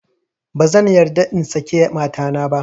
Ba zan yarda in saki matana ba